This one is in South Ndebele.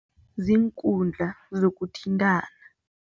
Ziinkundla zokuthintana.